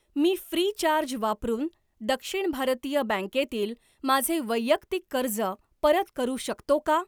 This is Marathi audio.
मी फ्रीचार्ज वापरून दक्षिण भारतीय बँकेतील माझे वैयक्तिक कर्ज परत करू शकतो का?